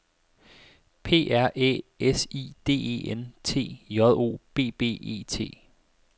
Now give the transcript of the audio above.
P R Æ S I D E N T J O B B E T